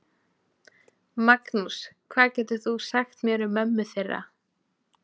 Magnús: Hvað getur þú sagt mér um mömmu þeirra?